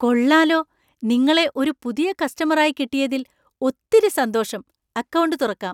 കൊള്ളാലോ! നിങ്ങളെ ഒരു പുതിയ കസ്റ്റമര്‍ ആയി കിട്ടിയതില്‍ ഒത്തിരി സന്തോഷം. അക്കൗണ്ട് തുറക്കാം.